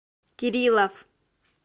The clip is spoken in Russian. кириллов